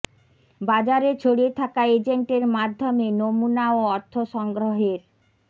বাজারে ছড়িয়ে থাকা এজেন্টের মাধ্যমে নমুনা ও অর্থ সংগ্রহের